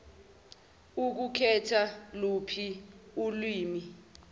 ukhetha luphi ilwimi